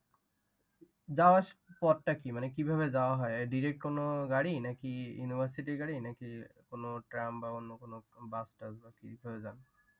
পথটা কি? মানে কি ভাবে যাওয়া হয়? Direct কোনো গাড়ি নাকি university র গাড়ি নাকি কোনো tram বা অন্য কোনো bus টাস কি ভাবে যান?